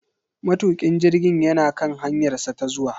Matukin jirgin yana kan hanyarsa ta zuwa.